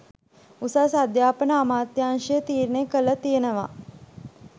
උසස් අධ්‍යාපන අමාත්‍යංශය තීරණය කරලා තියෙනවා